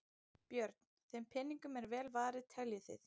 Björn: Þeim peningum er vel varið teljið þið?